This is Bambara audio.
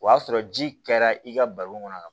O y'a sɔrɔ ji kɛra i ka baro kɔnɔ